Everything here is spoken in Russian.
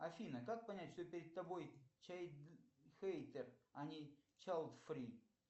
афина как понять что перед тобой чайлдхейтер а не чайлдфри